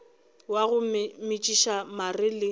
wa go metšiša mare le